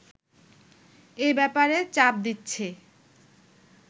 এ ব্যাপারে চাপ দিচ্ছে